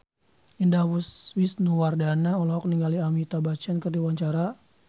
Indah Wisnuwardana olohok ningali Amitabh Bachchan keur diwawancara